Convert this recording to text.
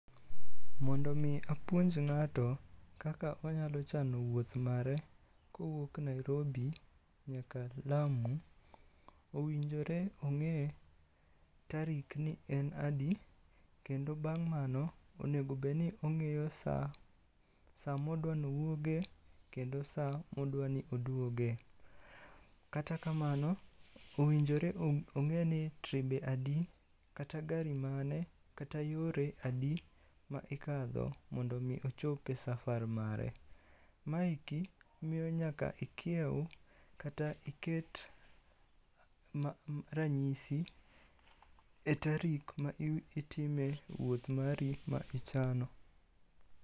Mondo mi apuonj ng'ato kaka onyalo chano wuoth mare, kowuok Nairobi nyaka lamu, owinjore ong'e tarik ni en adi. Kendo bang' mano onegobedni ong'eyo sa, sa modwa no wuoge kendo sa modwa ni odwoge. Kata kamano, owinjore ong'e ni tribe adi, kata gari mane, kata yore adi ma ikadho mondo mi ochope safar mare. Maeki miyo nyaka ikiew kata iket ranyisi e tarik ma itime wuoth mari ma ichano.